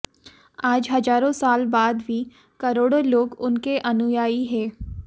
आज हजारों साल बाद भी करोड़ों लोग उनके अनुयायी हैं